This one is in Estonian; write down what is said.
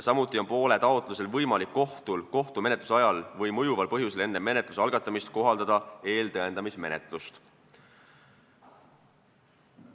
Samuti on kohtul poole taotlusel võimalik kohtumenetluse ajal või mõjuval põhjusel enne menetluse algatamist kohaldada eeltõendamismenetlust.